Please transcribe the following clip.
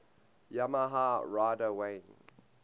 yamaha rider wayne